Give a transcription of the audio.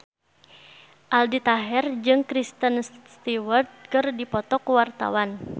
Aldi Taher jeung Kristen Stewart keur dipoto ku wartawan